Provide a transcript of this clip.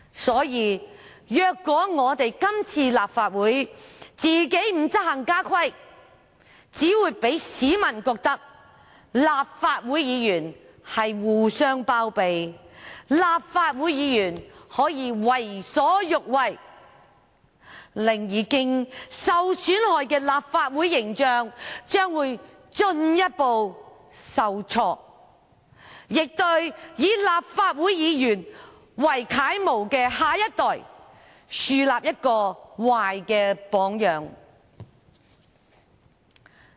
所以，若立法會今次不執行家規，只會令市民認為立法會議員互相包庇，立法會議員可以為所欲為，令已經受損害的立法會形象進一步受挫，亦向以立法會議員為楷模的下一代樹立壞榜樣。